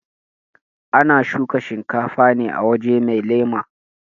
ana shuka shinkafa ne a waje mai lema